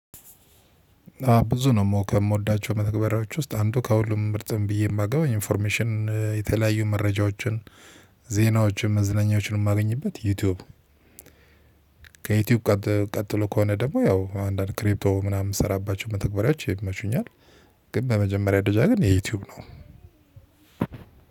ብዙ ነው ከምወዳቸው መተግበሪያዎች ውስጥ አንዱ ከሁሉም ምርጥም ብዬ የማገባው ኢንፎርሜሽን የተለያዩ መረጃዎችን ዜናዎችን መዝለናኛወችን የማገኝበት ዩቲዩብ። ከዩቲዩብ ቀጥሎ ከሆነ ደግሞ ያው አንዳንድ ክሪፕቶ ምናምን ምስራባቸው መተግበሪያቸው ይመቹኛል። ግን በመጀመሪያ ደጃ ግን የዩቲዩብ ነው።